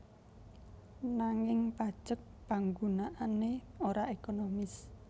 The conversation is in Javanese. Nanging pajek panggunaané ora ekonomis